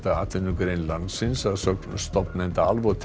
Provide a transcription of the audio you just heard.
atvinnugrein landsins að sögn stofnanda